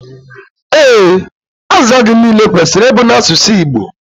Ee, azịza gị niile kwesịrị ịbụ n'asụsụ Igbo